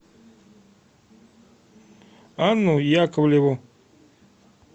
анну яковлеву